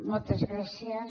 moltes gràcies